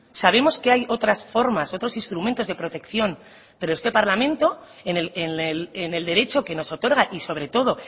sabemos que hay otras formas otros instrumentos de protección pero este parlamento en el derecho que nos otorga y sobre todo